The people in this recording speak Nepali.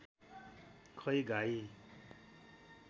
खै गाई